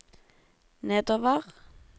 nedover